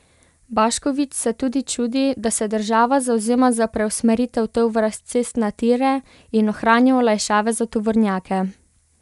Baškovič se tudi čudi, da se država zavzema za preusmeritev tovora s cest na tire in ohranja olajšave za tovornjake.